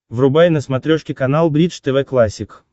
врубай на смотрешке канал бридж тв классик